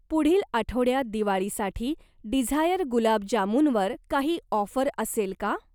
पुढील आठवड्यात दिवाळीसाठी डिझायर गुलाब जामुनवर काही ऑफर असेल का?